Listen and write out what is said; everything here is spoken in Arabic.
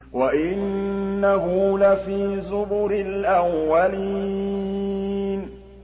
وَإِنَّهُ لَفِي زُبُرِ الْأَوَّلِينَ